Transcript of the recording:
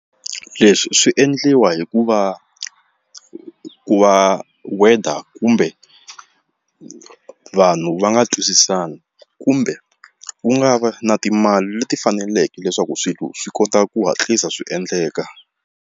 Leswi swi endliwa hi ku va ku va weather kumbe vanhu va nga twisisani kumbe wu nga va na timali leti faneleke leswaku swilo swi kota ku hatlisa swi endleka.